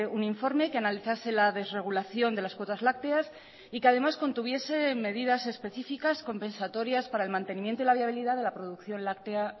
un informe que analizase la desregulación de las cuotas lácteas y que además contuviese medidas específicas compensatorias para el mantenimiento y la viabilidad de la producción láctea